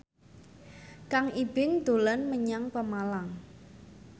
Kang Ibing dolan menyang Pemalang